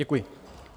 Děkuji.